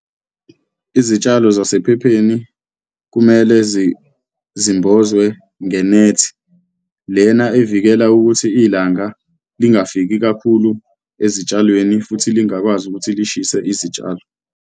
Izitshalo zasephepheni kumele zimbozwe ngenethi lena evikela ukuthi ilanga lingafiki kakhulu ezitshalweni futhi lingakwazi ukuthi lishise izitshalo.